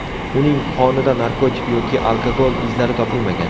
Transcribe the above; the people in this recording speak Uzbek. Uning qonida narkotik yoki alkogol izlari topilmagan.